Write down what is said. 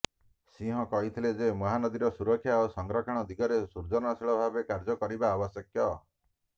ସିଂହ କହିଥିଲେ ଯେ ମହାନଦୀର ସୁରକ୍ଷା ଓ ସଂରକ୍ଷଣ ଦିଗରେ ସୃଜନଶୀଳ ଭାବେ କାର୍ଯ୍ୟ କରିବା ଆବଶ୍ୟକ